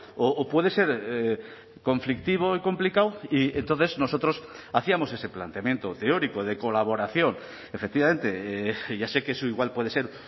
o puede ser conflictivo y complicado y entonces nosotros hacíamos ese planteamiento teórico de colaboración efectivamente ya sé que eso igual puede ser